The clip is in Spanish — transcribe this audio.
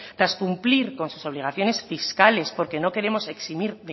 tras cumplir con sus obligaciones fiscales porque no queremos eximir